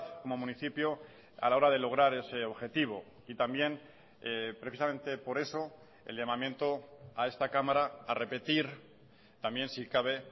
como municipio a la hora de lograr ese objetivo y también precisamente por eso el llamamiento a esta cámara a repetir también si cabe